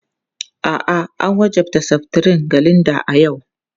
A'a, an wajabta seftirin ga Linda a yau.